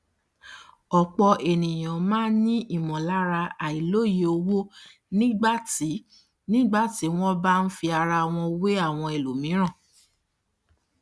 ọpọ ènìyàn máa n ní ìmọlára àìlòye owó nígbà tí nígbà tí wọn bá n fi ara wọn wé àwọn ẹlòmíràn